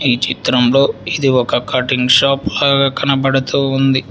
ఈ చిత్రంలో ఇది ఒక కటింగ్ షాప్ లాగా కనబడుతూ ఉంది.